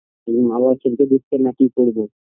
মা বাবা খেলতে দিচ্ছে না কী করবো